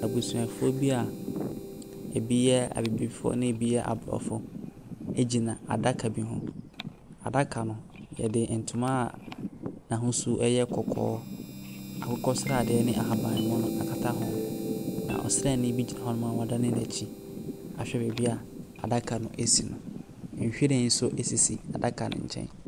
Abusuafoɔ bi a ebi yɛ abibifoɔ na ebi yɛ aborɔfo gyina adaka bi ho. Adaka no, wɔde ntoma a n'ahosuo yɛ kɔkɔɔ, akokɔ sradeɛ ne ahaban mono akata ho, na ɔsraani bi gyina hɔnom a wadane n'akyi ahwɛ baabi a adaka no si no. Nhwiren nso sisi adaka no nkyɛn.